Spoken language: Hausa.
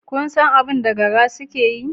Kun san abin da gara suke yi?